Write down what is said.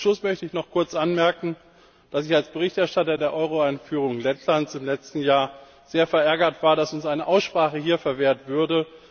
Zum Schluss möchte ich noch anmerken, dass ich als Berichterstatter der Euro Einführung Lettlands im letzten Jahr sehr verärgert war, dass uns eine Aussprache hier verwehrt wurde.